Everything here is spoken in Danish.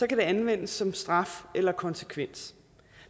kan det anvendes som straf eller konsekvens